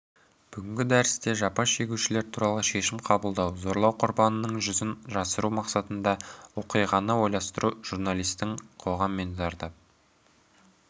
бүгінгі дәрісте жапа шегушілер туралы шешім қабылдау зорлау құрбанының жүзін жасыру мақсатында оқиғаны ойластыру журналистің қоғам мен зардап